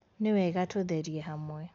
Nĩwega tũtherie hamwe